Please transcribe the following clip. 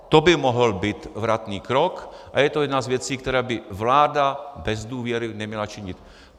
To by mohl být vratný krok, a je to jedna z věcí, které by vláda bez důvěry neměla činit.